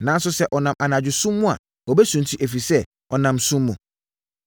Nanso, sɛ ɔnam anadwo sum mu a, ɔbɛsunti, ɛfiri sɛ, ɔnam sum mu.”